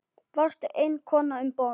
Varstu eina konan um borð?